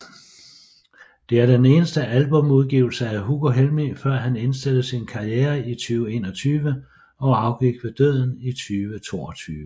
Det er den eneste albumudgivelse af Hugo Helmig før han indstillede sin karriere 2021 og afgik ved døden i 2022